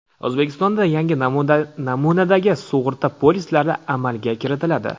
O‘zbekistonda yangi namunadagi sug‘urta polislari amalga kiritiladi.